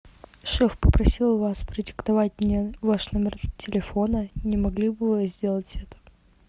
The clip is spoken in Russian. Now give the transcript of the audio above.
шеф попросил вас продиктовать мне ваш номер телефона не могли бы вы сделать это